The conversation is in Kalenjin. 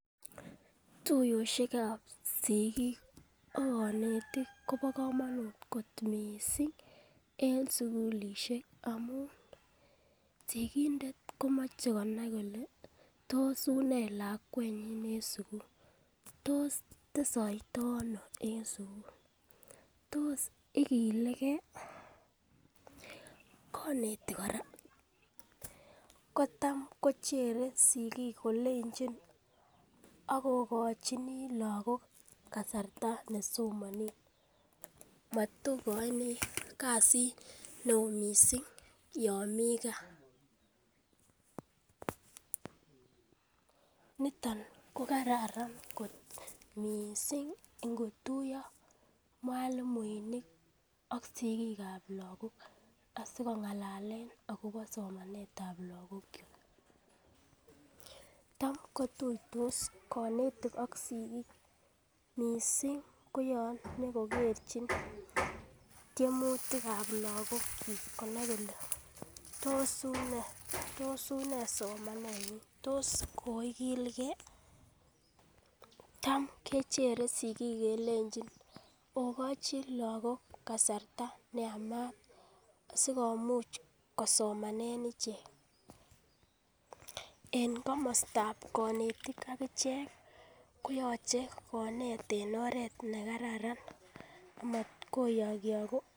tuyoshek ab sigiik ak konetik kobo komonuut kot mising en sugulishek amuun sigindet komoche konai kole tos unee lakwenyin en sugul tos tesoito ano en sugul, tos igilegee, konetik koraa kotam kochere sigiik kolenchi ogochinii lagook kasarta nesomonen, matokoini kasiit neoo mising yoon mii kaa, niton ko kararan kot mising ko yetuyo mwalimuek ak sigiik ab lagook asikongalalen agobo somanet ab lagook, ak kotuitos konetik ak sigik mising ko yoon nyokogerchin tyemutik ab lagook konai kole tos unee somanet nyin, tos koigilgee, taam kechere sigiik kelnchin ogochin lagook kasarta neamaat sigomuuch kosoman ichek, en komostab mwalimuek ak ichek konyolu koneet en oreet negararan maat koyokyogu